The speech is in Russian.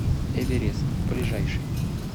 эверест ближайший